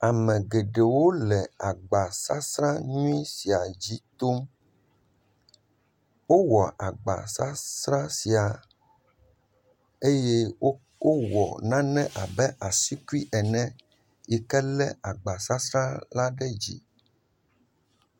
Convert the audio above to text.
Ame geɖewo le agbasasra nyui sia dzi tom. Wowɔ agbasasra sia eye wowɔ nane abe asikui ene yike lé agbasasra la ɖe dzi.